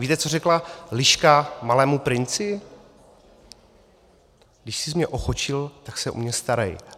Víte, co řekla liška Malému princi: "Když sis mě ochočil, tak se o mě starej."